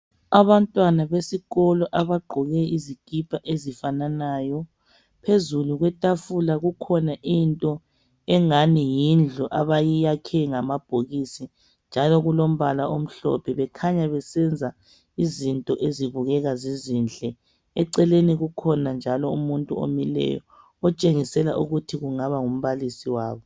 Abantwana besikolo abagqoke izikipa ezifananayo. Phezulu kwetafula kukhona into engani yindlu abayiyakhe ngamabhokisi njalo kulombala omhlophe bekhanya besenza izinto ezibukeka zizinhle. Eceleni kukhona njalo umuntu omileyo otshengisela ukuthi kungaba ngumbalisi wabo.